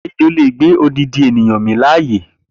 Ejo le gbé odindin ènìyàn min láàyè